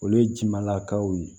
Olu ye ji ma lakaw ye